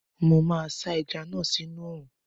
Mo máa sá ẹja náà sí inú oòrùn